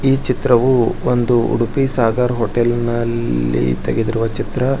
ಈ ಚಿತ್ರವು ಒಂದು ಉಡುಪಿ ಸಾಗರ್ ಹೋಟೆಲ್ನ ಇಲ್ಲಿ ತೆಗೆದಿರುವ ಚಿತ್ರ.